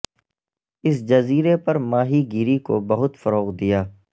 اس جزیرے پر ماہی گیری کو بہت فروغ دیا